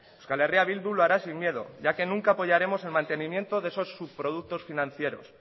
euskal herria bildu lo hará sin miedo ya que nunca apoyaremos el mantenimiento de esos subproductos financieros